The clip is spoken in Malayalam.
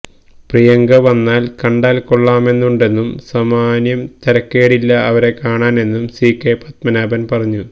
പ്രിയങ്ക വന്നാൽ കണ്ടാൽ കൊള്ളാമെന്നുണ്ടെന്നും സാമാന്യം തരക്കേടില്ല അവരെ കാണാനെന്നും സികെ പത്മനാഭൻ പറഞ്ഞു